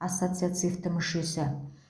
ассоциацивті мүшесі